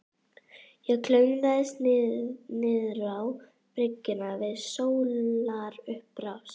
Ég klöngraðist niðrá bryggjuna við sólarupprás.